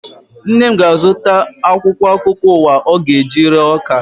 Nne m ga-azụta akwụkwọ akụkọ ụwa ọ ga-eji ree ọka